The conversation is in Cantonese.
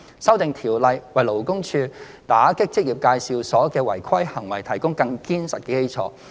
《修訂條例》為勞工處打擊職業介紹所的違規行為提供更堅實的基礎。